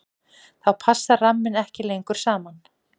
þá passa rammarnir ekki lengur saman